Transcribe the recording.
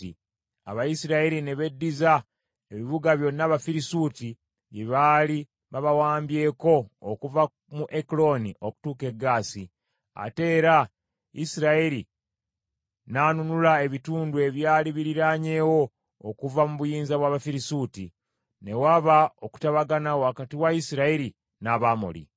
Abayisirayiri ne beddiza ebibuga byonna Abafirisuuti bye baali babawambyeko okuva mu Ekulooni okutuuka e Gaasi, ate era Isirayiri n’anunula ebitundu ebyali biriraanyeewo okuva mu buyinza bw’Abafirisuuti. Ne waba okutabagana wakati wa Isirayiri n’Abamoli .